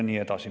Ja nii edasi.